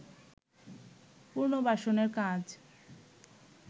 পুনর্বাসনের কাজ